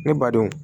Ne ba denw